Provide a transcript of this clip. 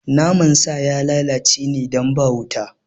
Naman sa ya lalace ne don ba wuta